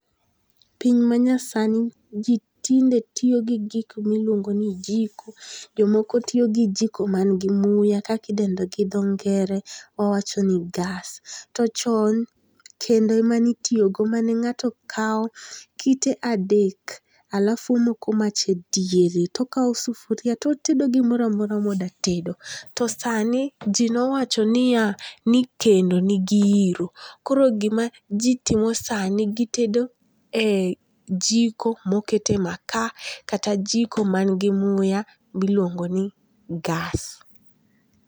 Piny manyasani ji tinde tiyo gi gik miluongo ni jiko, jomoko tiyo gi jiko mangi muya kaki dende gi tho ngere wawacho ni gas to chon kendo emanitiyogo mane nga'to kawo kite adek alafu omoko mach e diere to okawo sufuria to otedo gimora mora modatedo, to sani ji nowacho niya ni kendo nigi hiro koro gima ji timo sani gitedo e jiko mokete makaa kata jiko mangi muya miluongo ni gas.